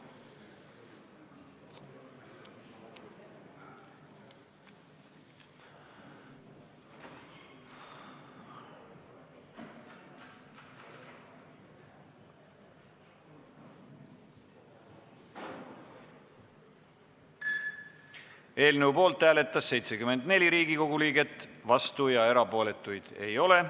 Hääletustulemused Eelnõu poolt hääletas 74 Riigikogu liiget, vastuolijaid ega erapooletuid ei ole.